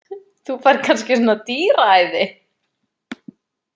Þú færð kannski svona dýraæði.